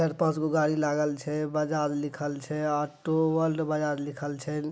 चार-पांच गो गाड़ी लागल छै बजाज लिखल छै ऑटो वर्ल्ड बजाज लिखल छै।